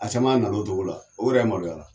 A caman nana o togo la o yɛrɛ maloya la